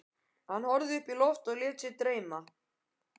Hann horfði upp í loftið og lét sig dreyma.